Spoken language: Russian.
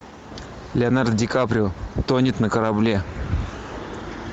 леонардо ди каприо тонет на корабле